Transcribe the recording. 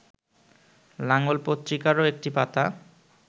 লাঙল পত্রিকারও একটি পাতা